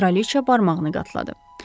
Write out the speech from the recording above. Kraliçə barmağını qatladı.